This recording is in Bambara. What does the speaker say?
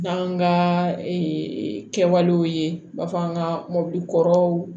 N'an ka kɛwalew ye u b'a fɔ an ka mɔbili kɔrɔw